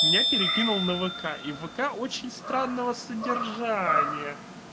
меня перекинул на вк и вк очень странного содержания